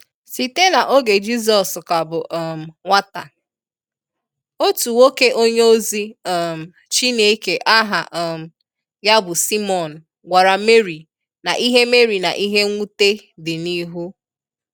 Site na oge Jizọs ka bụ um nwata, otu nwoke onye ozi um Chineke aha um ya bụ Simeon gwara Mary na ihe Mary na ihe nwute di n'ihu.